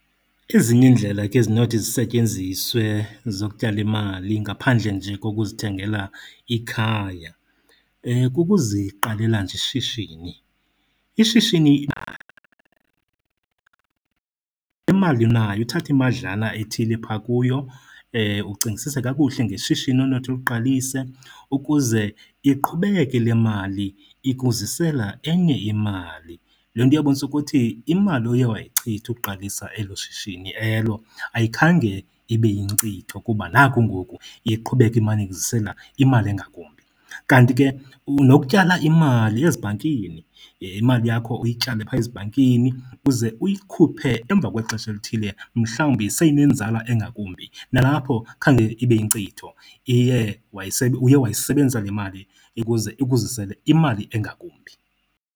Ezinye iindlela ke ezinothi zisetyenziswe zokutyala imali ngaphandle nje kokuzithengela ikhaya, kukuziqalela nje ishishini. Ishishini imali unayo uthathe imadlana ethile phaa kuyo, ucingisise kakuhle ngeshishini onothi uliqalise ukuze iqhubeke le mali ikuzisela enye imali. Loo nto iyobonisa ukuthi imali oye wayichitha ukuqalisa elo shishini elo ayikhange ibe yinkcitho kuba naku ngoku iye iqhubeka imane ikuzisela imali engakumbi. Kanti ke nokutyala imali ezibhankini, imali yakho uyityale phaa ezibhankini uze uyikhuphe emva kwexesha elithile mhlawumbi seyinenzala engakumbi. Nalapho khange ibe yinkcitho, iye uye wayisebenzisa le mali ukuze ikuzisele imali engakumbi.